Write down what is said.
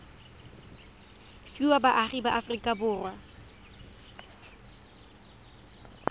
fiwa baagi ba aforika borwa